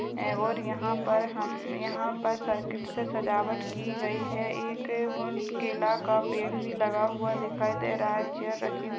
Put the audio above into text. और यहाँ पर हम्म यहाँ पर सर्किट से सजावट की गई है। एक केला का पेड़ भी लगा हुआ दिखाई दे रहा है। चेयर रखी हुई --